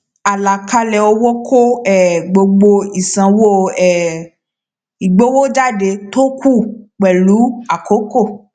àlàkalẹ owó kó um gbogbo ìsanwó um ìgbowójáde tó kù pẹlú àkókò